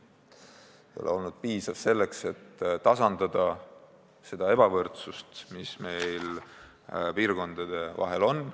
See ei ole olnud piisav selleks, et tasandada seda ebavõrdsust, mis piirkondade vahel on.